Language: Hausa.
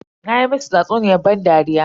Na masu tsatsuniyar ban dariya.